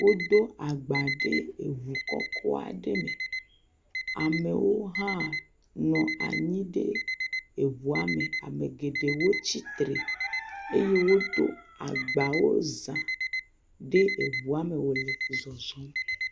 Wodo agba ɖe eŋu kɔkɔ aɖe me, amewo hã nɔ anyi eŋua me, ame geɖewo tsitre eye wodo agbawo za ɖe eŋua me wòle zɔzɔm.